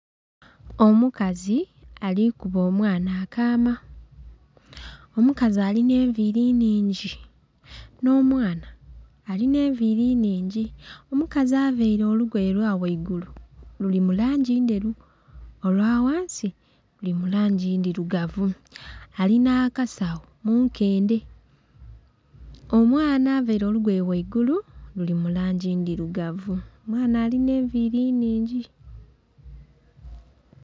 Omukazi alikuba omwana akaama, omukazi alina enviri nhingi, n'omwana alina enviri nhingi, omukazi availe olugoye olwaghaigulu liri mu langi nderu. Olwaghansi luri mu langi ndhirugavu. Alinha akasagho mu nkendhe omwana avaire olugoye ghaigulu luli mu langi ndirugavu omwana alina enviri nhingi.